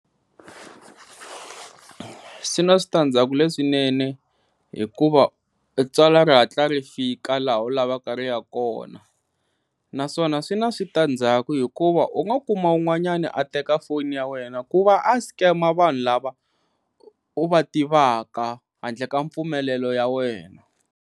Swi na switandzhaku leswinene hikuva tsalwa ri hatla ri fika laha u lavaka ri ya kona naswona swi na na switandzhaku hikuva u nga kuma un'wanyani a teka foni ya wena ku va a scam-a vanhu lava u va tivaka handle ka mpfumelelo ya wena.